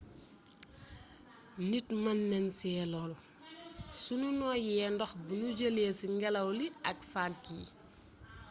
nit mën nañ ci lóru suñu nooyee ndox buñu jëlee ci ngélaw li ak vague yi